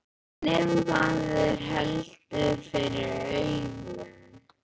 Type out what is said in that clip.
En ef maður heldur fyrir augun.